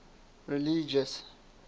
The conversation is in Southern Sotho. religious